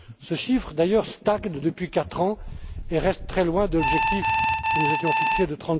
seulement! Ce chiffre, d'ailleurs, stagne depuis quatre ans et reste très loin de l'objectif que nous nous étions